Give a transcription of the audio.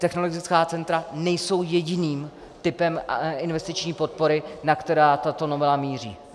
Technologická centra nejsou jediným typem investiční podpory, na který tato novela míří.